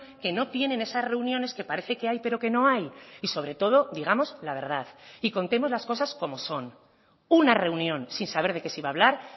que no tienen esas reuniones que parece que hay pero que no hay y sobre todo digamos la verdad y contemos las cosas como son una reunión sin saber de qué se iba a hablar